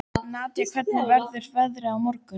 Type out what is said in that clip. Nadia, hvernig verður veðrið á morgun?